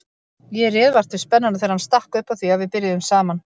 Ég réð vart við spennuna þegar hann stakk upp á því að við byrjuðum saman.